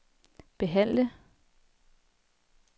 behandle